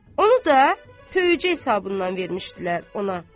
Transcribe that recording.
Onu da töycə hesabından vermişdilər ona.